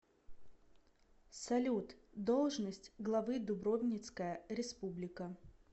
салют должность главы дубровницкая республика